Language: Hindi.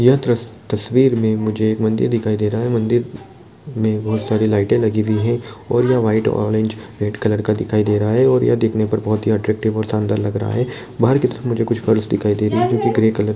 यह त- तस्वीर में मुझे मंदिर दिखाई दे रहा है मंदिर में बहुत सारी लाइटे लगी हुई है और ये व्हाइट ऑरेंज रेड कलर का दिखाई दे रहा है और ये देखने पर बहुत ही अट्रेक्टिव और शानदार लग रहा है बाहर के तरफ मुझे कुछ फर्श दिखाई दे रहा है जो की ग्रे कलर ---